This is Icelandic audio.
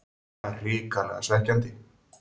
Það er hrikalega svekkjandi.